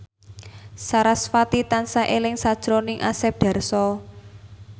sarasvati tansah eling sakjroning Asep Darso